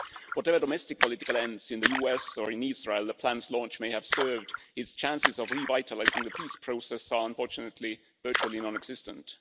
Whatever domestic political ends in the US or in Israel the plan's launch may have served, its chances of revitalising the peace process are, unfortunately, virtually non existent.